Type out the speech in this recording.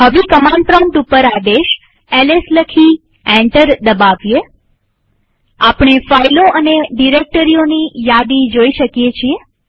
હવે command prompt ઉપર આદેશ એલએસ લખી એન્ટર દબાવીએઆપણે ફાઈલો અને ડિરેક્ટરીઓની યાદી જોઈ શકીએ છીએ